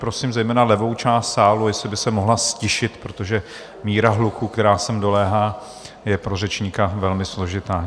Prosím zejména levou část sálu, jestli by se mohla ztišit, protože míra hluku, která sem doléhá, je pro řečníka velmi složitá.